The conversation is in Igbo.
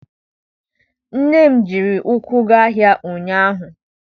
Nne m ji ụkwụ gaa ahịa ụnyaahụ.